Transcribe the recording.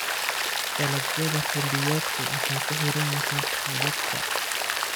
Dalagyada xilliyeedku waxay ku xiran yihiin roobabka.